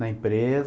Na empresa.